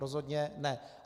Rozhodně ne.